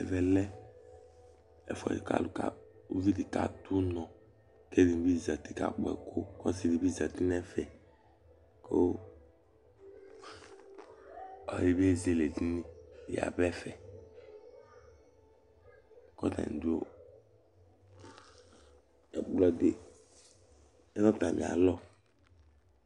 Ɛvɛ lɛ ɛfʋɛdɩ kʋ uvi dɩ kadu ʋnɔ, kʋ elivi nɩ zǝtɩ ka kpɔɛkʋ, kʋ ɔsɩ di bɩ zǝtɩ nʋ ɛfɛ, kʋ ɔlɔdɩ bɩ ezele edini yaba ɛfɛ Ɛkplɔ di lɛ nʋ atami alɔ